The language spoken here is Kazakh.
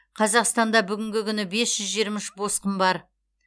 қазақстанда бүгінгі күні бес жүз жиырма үш босқын бар